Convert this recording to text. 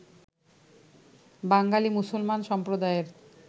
বাঙালি মুসলমান সম্প্রদায়ের